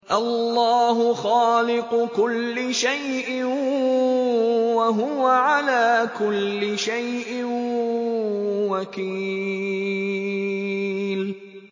اللَّهُ خَالِقُ كُلِّ شَيْءٍ ۖ وَهُوَ عَلَىٰ كُلِّ شَيْءٍ وَكِيلٌ